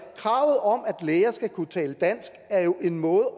kravet om at læger skal kunne tale dansk er jo en måde